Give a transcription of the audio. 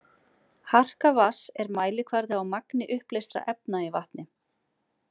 Harka vatns er mælikvarði á magni uppleystra efna í vatni.